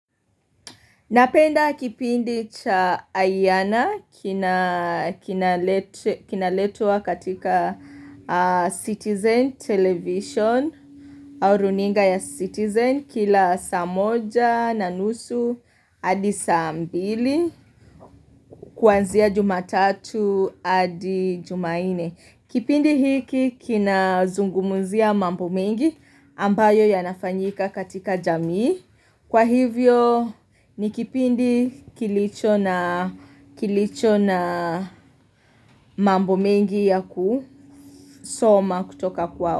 Napenda kipindi cha Ayana kina kinaletwa katika Citizen television, au runinga ya Citizen, kila saa moja, na nusu, adi saa mbili, kwanzia jumatatu, adi jumanne. Kipindi hiki kinazungumzia mambo mengi ambayo yanafanyika katika jamii. Kwa hivyo ni kipindi kilicho na kilicho mambo mengi ya kusoma kutoka kwao.